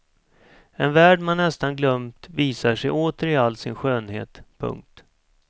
En värld man nästan glömt visar sig åter i all sin skönhet. punkt